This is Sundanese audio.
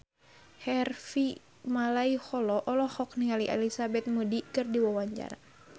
Harvey Malaiholo olohok ningali Elizabeth Moody keur diwawancara